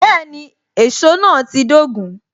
Bẹẹni, èsó náà ti dogun